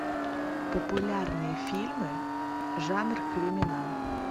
популярные фильмы жанр криминал